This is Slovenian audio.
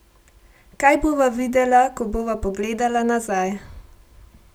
Kaj bova videla, ko bova pogledala nazaj?